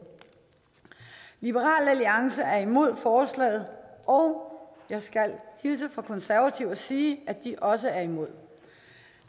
liberal alliance er imod forslaget og jeg skal hilse fra de konservative og sige at de også er imod